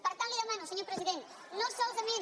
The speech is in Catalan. per tant li demano senyor president no solament